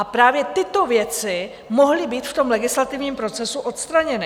A právě tyto věci mohly být v tom legislativním procesu odstraněny.